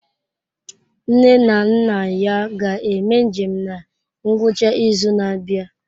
Nne na nna ya ga-eme njem na ngwụcha izu na-abịa.